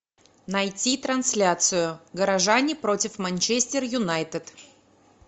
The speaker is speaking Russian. найти трансляцию горожане против манчестер юнайтед